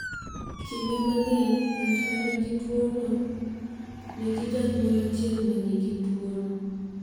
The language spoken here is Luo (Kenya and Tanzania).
Kinde mang’eny, ng’at ma nigi tuwono nigi janyuol achiel ma nigi tuwono.